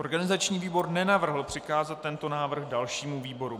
Organizační výbor nenavrhl přikázat tento návrh dalšímu výboru.